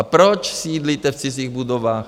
A proč sídlíte v cizích budovách?